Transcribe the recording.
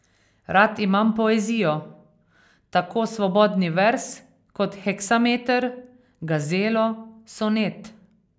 Rad imam poezijo, tako svobodni verz kot heksameter, gazelo, sonet ...